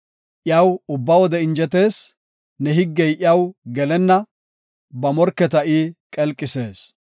Iyaw ubba wode injetees; ne higgey iyaw gelenna; ba morketa I qelqisees.